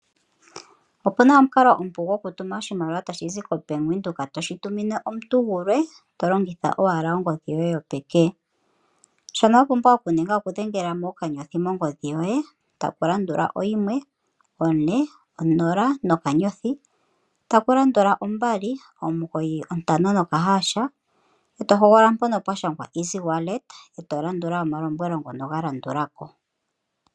Opu na omukalo omupu gokutuma oshimaliwa tashi zi koBank Windhoek toshi tumine omuntu gulwe to longitha owala ongodhi yoye yopeke. Shoka wa pumbwa okuninga okudhengela mo owala *140*295# e to hogolola mpono pwa shangwa Easywalet, e to landula omalombwelo ngono ga landula ko.